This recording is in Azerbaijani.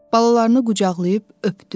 Balalarını qucaqlayıb öpdü.